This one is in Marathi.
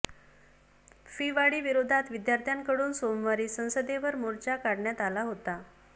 फी वाढीविरोधात विद्यार्थ्यांकडून सोमवारी संसदेवर मोर्चा काढण्यात आला होता